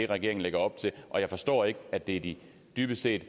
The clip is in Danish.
regeringen lægger op til og jeg forstår ikke at det dybest set